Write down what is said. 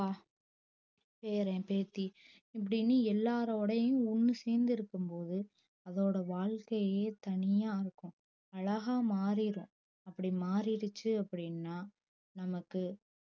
அப்பா பேரன் பேத்தி இப்டின்னு எல்லாரோடையும் ஒன்னு சேந்து இருக்கும் போது அதோட வாழ்க்கையே தனியா ஆக்கும் அழகா மாறிடும் அப்டி மாறிடுச்சி அப்டின்னா நமக்கு